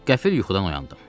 Qəfil yuxudan oyandım.